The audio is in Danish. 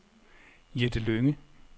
Jette Lynge